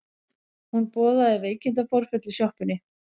Hún boðaði veikindaforföll í sjoppunni.